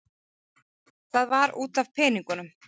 Það var út af peningum.